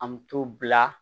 An bɛ t'o bila